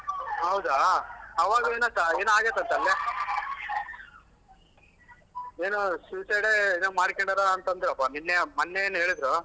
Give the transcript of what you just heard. ಹೌದಾ? ಅವಾ ಏನೋ ಆಗೈತಂತಲ್ಲೆ. ಏನೋ suicide ಏನೋ ಮಾಡ್ಕೊಂಡ್ಯಾರಾ ಅಂತ್ ಅಂದ್ರಪ್ಪ ನೆನ್ನೆ ಮೊನ್ನೆ ಏನೋ ಹೇಳಿದ್ರು.